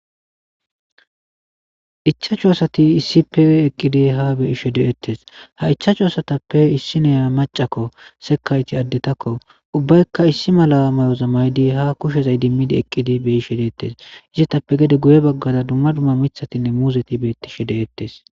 Ichachu asati issi pe eqqidi ha beishe de'ettes ha ichaachu asatappe issi neya macakko sekayti addetakko ubbaykka issi mala mayozammaydi ha kushezay dimmidi eqqidi beyi she deettes izetappe gede guye baggaza dumma dumma mithatinne muuzeti beetti she de'ettes.